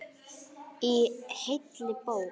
Í heilli bók.